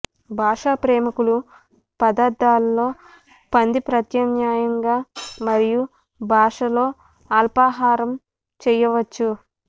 భాషా ప్రేమికులు పదార్థాలలో పంది ప్రత్యామ్నాయంగా మరియు భాష తో అల్పాహారం చేయవచ్చు